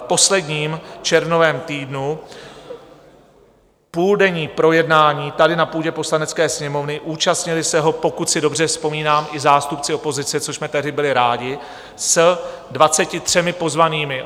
V posledním červnovém týdnu půldenní projednání tady na půdě Poslanecké sněmovny, účastnili se ho, pokud si dobře vzpomínám, i zástupci opozice, což jsme tehdy byli rádi, s 23 pozvanými.